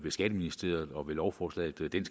skatteministeriet og med lovforslaget det